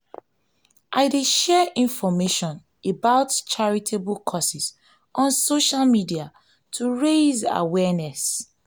i dey share information about charitable causes on social media to raise awareness.